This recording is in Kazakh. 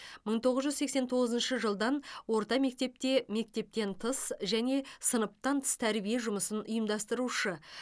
мың тоғыз жүз сексен тоғызыншы жылдан орта мектепте мектептен тыс және сыныптан тыс тәрбие жұмысын ұйымдастырушы